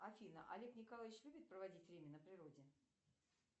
афина олег николаевич любит проводить время на природе